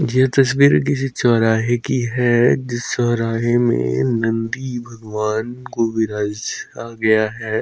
ये तस्वीर किसी चौराहे की है जिस चौराहे में नन्दी भगवान को विराजा गया है।